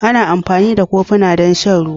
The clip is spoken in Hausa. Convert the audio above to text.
Ana amfani da kofuna don shan ruwa